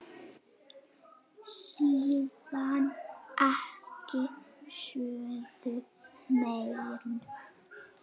Síðan ekki söguna meir.